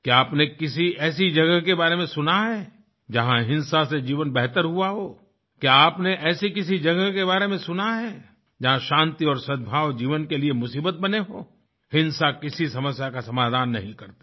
क्या आपने किसी ऐसी जगह के बारे में सुना है जहाँ हिंसा से जीवन बेहतर हुआ हो क्या आपने ऐसी किसी जगह के बारे में सुना है जहाँ शांति और सद्भाव जीवन के लिए मुसीबत बने हों हिंसा किसी समस्या का समाधान नहीं करती